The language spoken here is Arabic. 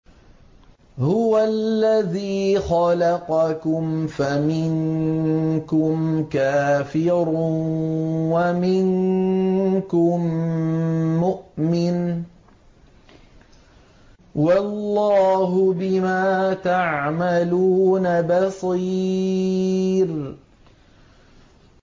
هُوَ الَّذِي خَلَقَكُمْ فَمِنكُمْ كَافِرٌ وَمِنكُم مُّؤْمِنٌ ۚ وَاللَّهُ بِمَا تَعْمَلُونَ بَصِيرٌ